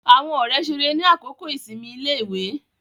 Àwọn ọ̀rẹ́ ṣeré ni àkókò ìsinmi iléèwé